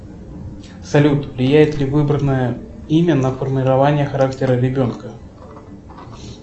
салют влияет ли выбранное имя на формирование характера ребенка